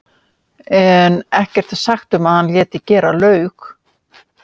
en ekkert er sagt um að hann léti gera laug.